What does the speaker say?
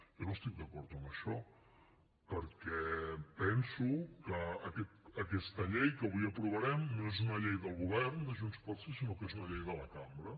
jo no estic d’acord amb això perquè penso que aquesta llei que avui aprovarem no és una llei del govern de junts pel sí sinó que és una llei de la cambra